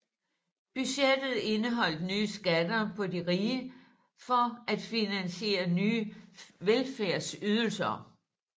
Budgettet indeholdt nye skatter på de rige for at finansiere nye velfærdsydelser